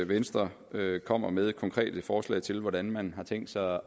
venstre kommer med konkrete forslag til hvordan man har tænkt sig